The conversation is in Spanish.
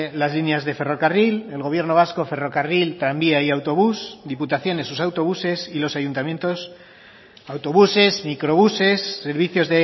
las líneas de ferrocarril el gobierno vasco ferrocarril tranvía y autobús diputaciones sus autobuses y los ayuntamientos autobuses microbuses servicios